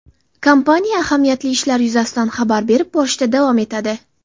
Kompaniya ahamiyatli ishlar yuzasidan xabar berib borishda davom etadi.